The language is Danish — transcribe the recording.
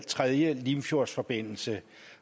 tredje limfjordsforbindelse